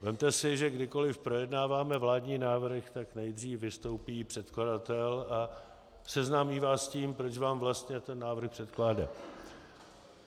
Vezměte si, že kdykoliv projednáváme vládní návrhy, tak nejdřív vystoupí předkladatel a seznámí vás s tím, proč vám vlastně ten návrh předkládá.